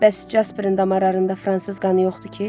Bəs Casperin damarlarında fransız qanı yoxdur ki?